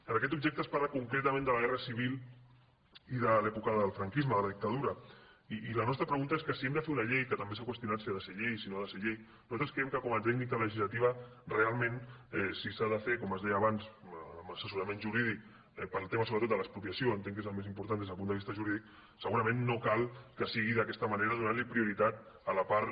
en aquest objecte es parla concretament de la guerra civil i de l’època del franquisme de la dictadura i la nostra pregunta és que si hem de fer una llei que també s’ha qüestionat si ha de ser llei o si no ha de ser llei nosaltres creiem que com a tècnica legislativa realment si s’ha de fer com es deia amb assessorament jurídic pel tema sobretot de l’expropiació entenc que és el més important des del punt de vista jurídic segurament no cal que sigui d’aquesta manera donant li prioritat a la part